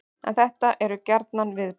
En þetta eru gjarnan viðbrögð